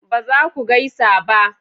ba za ku gaisa ba